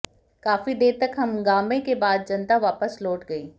काफी देर तक हंगामे के बाद जनता वापस लौट गई